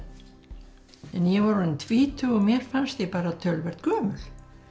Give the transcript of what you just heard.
en ég var orðin tvítug og mér fannst ég töluvert gömul